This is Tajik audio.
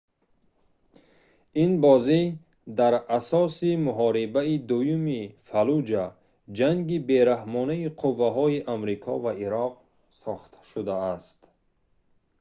ин бозӣ дар асоси муҳорибаи дуюми фаллуҷа ҷанги бераҳмонаи қувваҳои амрико ва ироқ сохта шудааст